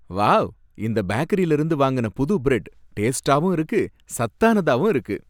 Wow! இந்த பேக்கரில இருந்து வாங்குன புது பிரட் டேஸ்டாவும் இருக்கு சத்தானதாவும் இருக்கு